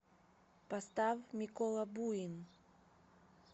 поставь микола буин